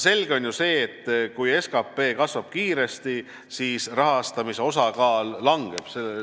Selge on ju see, et kui SKP kasvab kiiresti, siis rahastamise osakaal langeb.